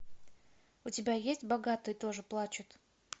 у тебя есть богатые тоже плачут